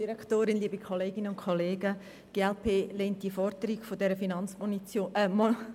Die glp lehnt die Forderung der Finanzmotion ab.